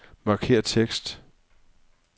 Markér tekst.